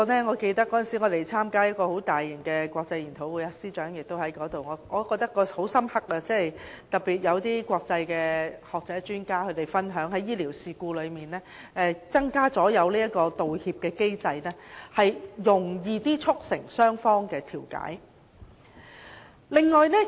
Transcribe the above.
我記得我們曾參加一個很大型的國際研討會，司長也有出席，我的印象很深刻，會上有國際學者和專家分享，在醫療事故增設道歉機制，較容易促成雙方調解。